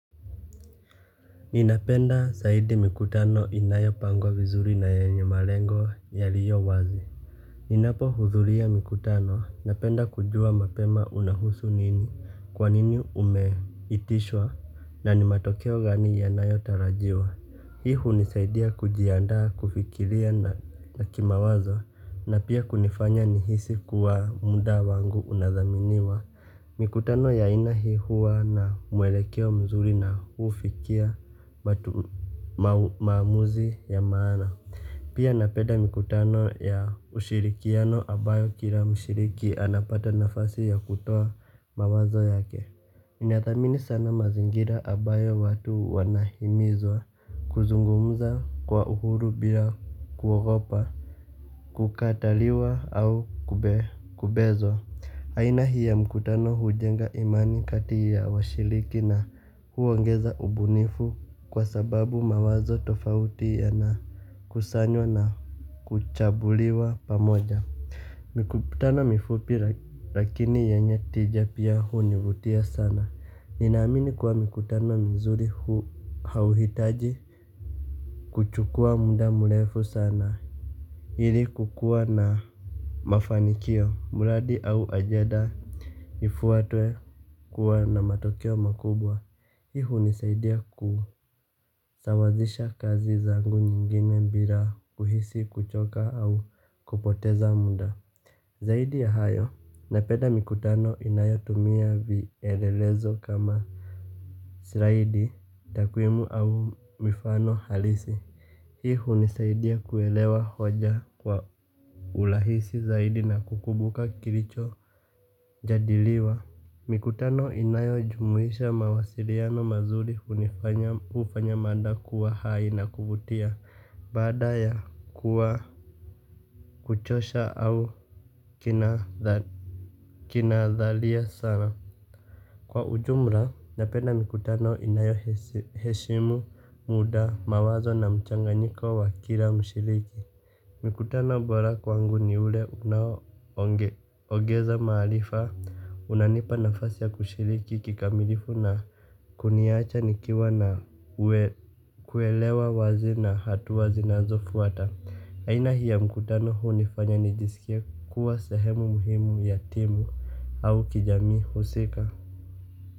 Ninapenda zaidi mikutano inayopangwa vizuri na yenye malengo yaliyo wazi. Ninapohudhuria mkutano napenda kujua mapema unahusu nini, kwanini umeitishwa na ni matokeo gani yanayotarajiwa. Hii hunisaidia kujiandaa kufikiria na kimawazo na pia kunifanya nihisi kuwa muda wangu unathaminiwa. Mikutano ya aina hii huwa na mwelekeo mzuri na hufikia maamuzi ya maana. Pia napenda mikutano ya ushirikiano ambayo kila mshiriki anapata nafasi ya kutoa mawazo yake. Ninathamini sana mazingira ambayo watu wanahimizwa kuzungumuza kwa uhuru bila kuogopa kukataliwa au kubezwa. Aina hii ya mkutano hujenga imani kati ya washiriki na huongeza ubunifu kwa sababu mawazo tofauti yanakusanywa na kuchambuliwa pamoja. Mikutano mifupi lakini yenye tija pia hunivutia sana. Ninaamini kuwa mkutano mzuri hauhitaji kuchukua muda mrefu sana. Ili kukuwa na mafanikio, mradi au ajenda. Ifuatwe kuwa na matokeo makubwa. Hii hunisaidia kusawazisha kazi zangu nyingine bila kuhisi kuchoka au kupoteza muda. Zaidi ya hayo, napenda mikutano inayotumia vielelezo kama slaidi, takwimu au mifano halisi. Hii hunisaidia kuelewa hoja kwa urahisi zaidi na kukumbuka kilichojadiliwa. Mikutano inayojumuisha mawasiliano mazuri hufanya mada kuwa hai na kuvutia baada ya kuwa kuchosha au kinadharia sana. Kwa ujumla, napenda mikutano inayoheshimu muda, mawazo na mchanganyiko wa kila mshiriki. Mkutano mbora kwangu ni ule unaoongeza maarifa, unanipa nafasi ya kushiriki kikamilifu na kuniacha nikiwa na kuelewa wazi na hatua zinazofuata. Aina hii ya mkutano hunifanya nijisikie kuwa sahemu muhimu ya timu au kijamii husika.